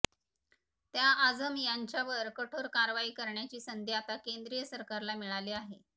त्या आझम यांच्यावर कठोर कारवाई करण्याची संधी आता केंद्रीय सरकारला मिळाली आहे